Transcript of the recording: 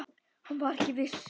Hann var ekki viss.